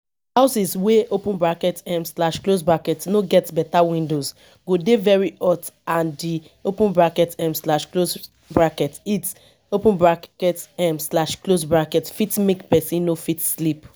houses wey um no get better windows go dey very hot and di um heat um fit make person no fit sleep